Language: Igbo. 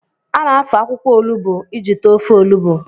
A na-afọ akwụkwọ olugbo iji tee ofe olugbo